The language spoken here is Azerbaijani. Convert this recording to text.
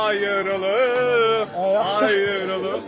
Ayrılıq, ayrılıq.